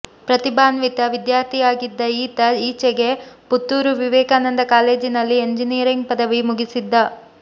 ಪ್ರತಿಭಾನ್ವಿತ ವಿದ್ಯಾರ್ಥಿಯಾಗಿದ್ದ ಈತ ಈಚೆಗೆ ಪುತ್ತೂರು ವಿವೇಕಾನಂದ ಕಾಲೇಜಿನಲ್ಲಿ ಎಂಜಿನಿಯರಿಂಗ್ ಪದವಿ ಮುಗಿಸಿದ್ದ